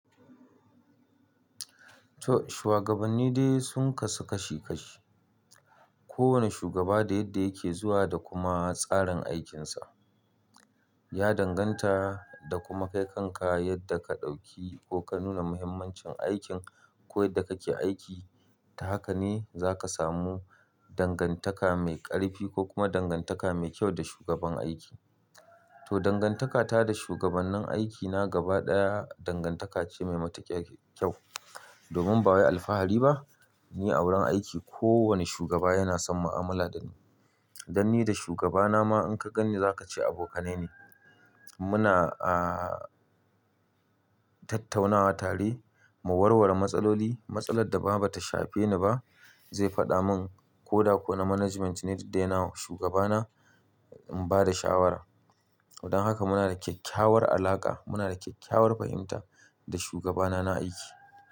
To shuwagabanni dai sun kasu kashi kashi. Kowane shugaba da yadda yake zuwa da kuma tsarin aikinsa. Ya danganta da kuma kaikan ka yadda ka ɗauki ko ka nuna muhimmancin aikin ko yadda kake aiki. Ta haka ne za ka samu dangantaka mai ƙarfi ko kuma dangantaka mai kyau da shugaban aiki. To dangantaka ta da shugabannen aikina gaba ɗaya dangantaka ce mai matuƙya kyau. Domin ba wai alfahari ba, ni a wurin aiki kowane shugaba yana son mu'amala da ni. Dan ni da shugabana ma in ka gani za ka ce abokanai ne. Muna, ah, tattaunawa tare, mu warware matsaloli. Matsalar da ba ta shafe ni ba zai faɗa mun ko da ko na management ne da yana shugabana in ba da shawara. Wadan haka muna da kyakkyawar alaƙa, muna da kyakkyawar fahimta da shugabana na aiki.